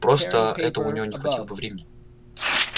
просто это у него не хватило бы времени